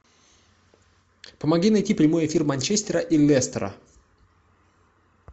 помоги найти прямой эфир манчестера и лестера